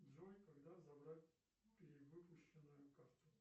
джой когда забрать перевыпущенную карту